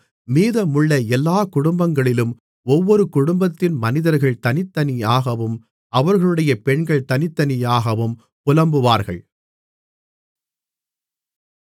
மீதமுள்ள எல்லா குடும்பங்களிலும் ஒவ்வொரு குடும்பத்தின் மனிதர்கள் தனித்தனியாகவும் அவர்களுடைய பெண்கள் தனித்தனியாகவும் புலம்புவார்கள்